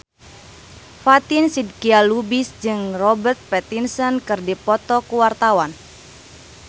Fatin Shidqia Lubis jeung Robert Pattinson keur dipoto ku wartawan